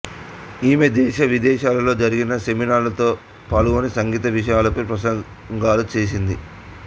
ఈమె దేశవిదేశాలలో జరిగిన సెమినార్లలో పాల్గొని సంగీత విషయాలపై ప్రసంగాలు చేసింది